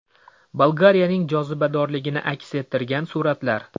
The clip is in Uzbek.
Bolgariyaning jozibadorligini aks ettirgan suratlar .